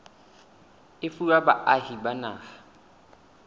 e fuwa baahi ba naha